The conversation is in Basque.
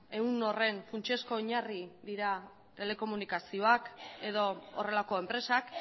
ehun horren funtsezko oinarri dira telekomunikazioak edo horrelako enpresak